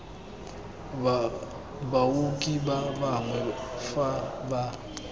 baoki ba bangwe fa ba